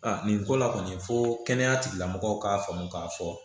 nin ko la kɔni fo kɛnɛya tigilamɔgɔw k'a faamu k'a fɔ